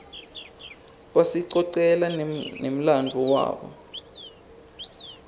basicocela nemladvo wabo